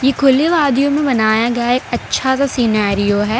इ खुले वादियो मे बनाया गया एक अच्छा सा सिनारियो है।